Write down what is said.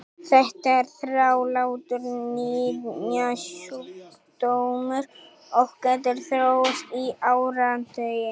Þetta er þrálátur nýrnasjúkdómur og getur þróast í áratugi.